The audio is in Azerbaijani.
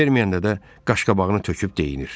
Verməyəndə də qaşqabağını töküb deyinir.